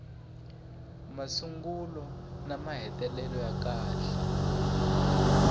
masungulo na mahetelelo ya kahle